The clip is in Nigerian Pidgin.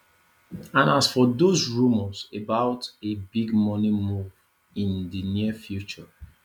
and as for dos rumours about a big money move in di near future